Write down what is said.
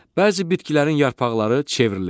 Bəzi bitkilərin yarpaqları çevrilir.